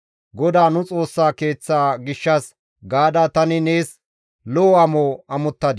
GODAA nu Xoossa Keeththa gishshas gaada tani nees lo7o amo amottana.